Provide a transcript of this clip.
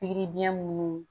Pikiri biyɛn munnu